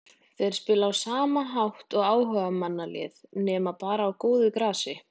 Þeir spila á sama hátt og áhugamannalið nema bara á góðu grasi.